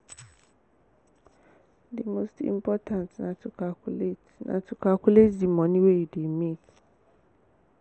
di most important na to calculate na to calculate di moni wey you dey make